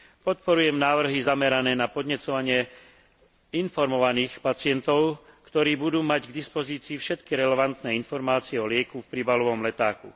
Podporujem návrhy zamerané na podnecovanie informovaných pacientov, ktorí budú mať k dispozícii všetky relevantné informácie o lieku v príbalovom letáku.